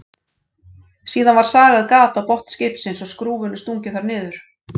Síðan var sagað gat á botn skipsins og skrúfunni stungið þar niður.